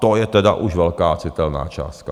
To je tedy už velká citelná částka.